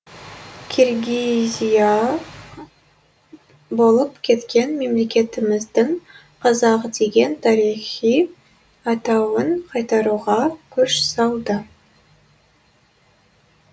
киргизия болып кеткен мемлекетіміздің қазақ деген тарихи атауын қайтаруға күш салды